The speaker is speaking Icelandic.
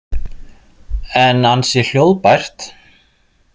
En ansi hljóðbært.